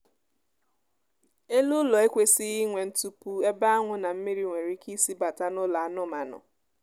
elu ụlọ ekwesịghị inwe ntupu ebe anwụ na mmiri nwere ike isi bata n'ụlọ anụmaanụ